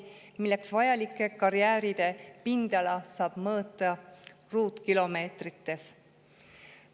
Selleks vajalike karjääride pindala saab mõõta ruutkilomeetrites.